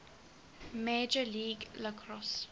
major league lacrosse